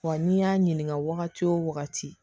Wa n'i y'a ɲininka wagati o wagati